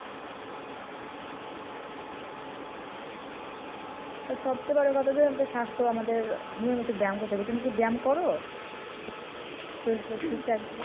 সব চেয়ে বড় কথা যে স্বাস্থ্য আমাদের নিয়মিত ব্যায়াম করতে হবে। তুমি কি ব্যয়াম করো?